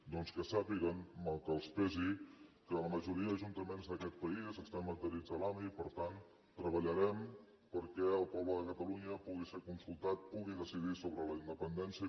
doncs que sàpiguen mal que els pesi que la majoria d’ajuntaments d’aquest país estem adherits a l’ami i per tant treballarem perquè el poble de catalunya pugui ser consultat pugui decidir sobre la independència